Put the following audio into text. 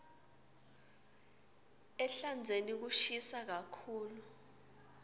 ehlandzeni kushisa kakhulu